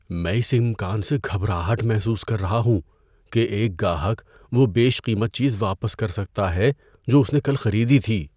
میں اس امکان سے گھبراہٹ محسوس کر رہا ہوں کہ ایک گاہک وہ بیش قیمت چیز واپس کر سکتا ہے جو اس نے کل خریدی تھی۔